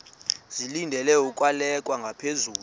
zilungele ukwalekwa ngaphezulu